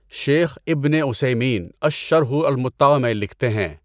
شیخ ابنِ عُثَیمین اَلشَّرْحُ الْمُمَتَّع میں لکھتے ہیں۔